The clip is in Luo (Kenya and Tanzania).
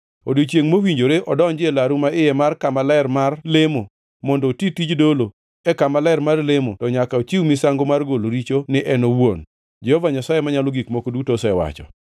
Odiechiengʼ mowinjore odonji e laru maiye mar kama ler mar lemo mondo oti tij dolo e kama ler mar lemo, to nyaka ochiw misango mar golo richo ni en owuon, Jehova Nyasaye Manyalo Gik Moko Duto osewacho.